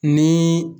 Ni